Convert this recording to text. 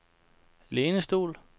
lænestol